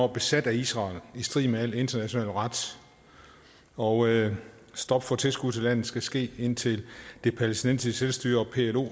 besat af israel i strid med al international ret og stop for tilskud til landet skal ske indtil det palæstinensiske selvstyre